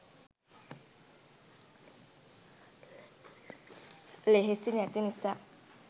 ලෙහෙසි නැති නිසා.